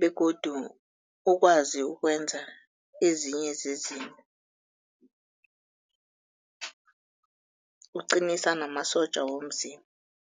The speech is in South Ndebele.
begodu ukwazi ukwenza ezinye zezinto, uqinisa namasotja womzimba.